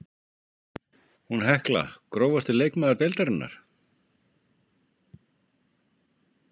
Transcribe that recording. Hún Hekla Grófasti leikmaður deildarinnar?